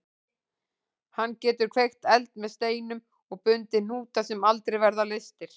Hann getur kveikt eld með steinum og bundið hnúta sem aldrei verða leystir.